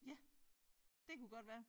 Ja det kunne godt være